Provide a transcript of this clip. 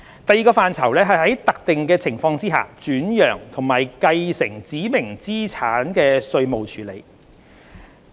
第二個範疇是在特定情況下轉讓及繼承指明資產的稅務處理。